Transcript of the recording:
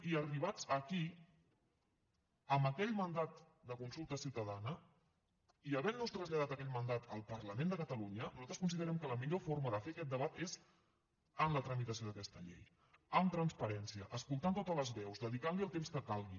i arribats aquí amb aquell mandat de consulta ciutadana i havent nos traslladat aquell mandat al parlament de catalunya nosaltres considerem que la millor forma de fer aquest debat és amb la tramitació d’aquesta llei amb transparència escoltant totes les veus dedicant li el temps que calgui